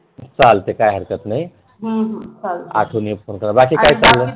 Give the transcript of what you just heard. चालेल काय हरकत नाही हम्म चालेल आज तुम्ही बाकी काय चाल्लय